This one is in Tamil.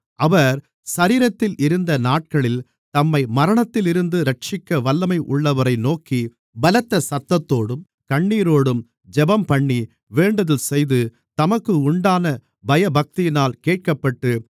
அவர் சரீரத்தில் இருந்த நாட்களில் தம்மை மரணத்திலிருந்து இரட்சிக்க வல்லமை உள்ளவரை நோக்கி பலத்த சத்தத்தோடும் கண்ணீரோடும் ஜெபம்பண்ணி வேண்டுதல்செய்து தமக்கு உண்டான பயபக்தியினால் கேட்கப்பட்டு